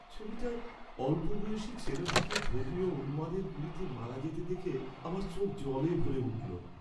ছবিটায় অল্পবয়সি ছেলেটিকে ধর্মীয় উন্মাদদের গুলিতে মারা যেতে দেখে আমার চোখ জলে ভরে উঠল।